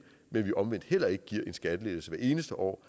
men vi skal omvendt heller ikke give en skattelettelse hvert eneste år